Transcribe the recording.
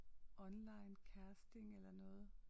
Online casting eller noget